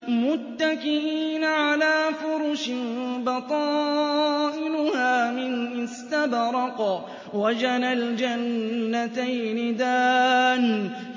مُتَّكِئِينَ عَلَىٰ فُرُشٍ بَطَائِنُهَا مِنْ إِسْتَبْرَقٍ ۚ وَجَنَى الْجَنَّتَيْنِ دَانٍ